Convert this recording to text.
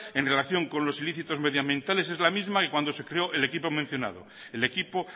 en relación con los ilícitos medioambientales es la misma que cuando se creó el equipo mencionado el equipo